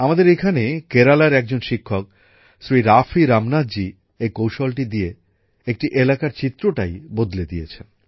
আমাদের এখানে কেরালার একজন শিক্ষক শ্রী রাফী রামনাথজি এই কৌশলটি দিয়ে একটি এলাকার চিত্রটাই বদলে দিয়েছেন